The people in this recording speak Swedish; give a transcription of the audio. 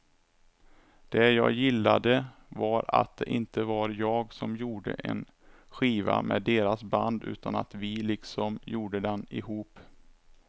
Det jag gillade var att det inte var jag som gjorde en skiva med deras band utan att vi liksom gjorde den ihop.